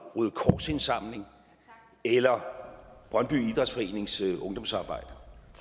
røde kors indsamling eller brøndby idrætsforenings ungdomsarbejde